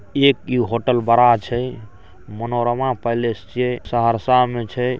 एक इ होटल बड़ा छै | मनोरमा पैलेस छीये सहरसा में छै |